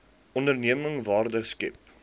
onderneming waarde skep